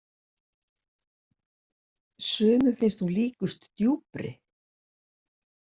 Sumum finnst hún líkust djúpri.